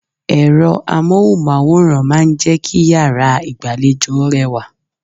Ẹ̀rọ Amóhùnmáwòrán máa ń jẹ́ kí yàrá ìgbàlejò rẹwà.